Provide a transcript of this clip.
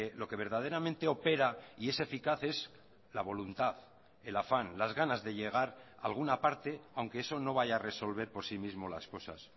lo que verdaderamente opera y es eficaz es la voluntad el afán las ganas de llegar alguna parte aunque eso no vaya a resolver por sí mismo las cosas